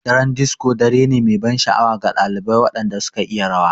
Daren disco dare ne mai ban sha'awa ga ɗalibai waɗanda suka iya rawa.